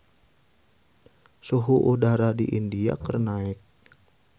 Suhu udara di India keur naek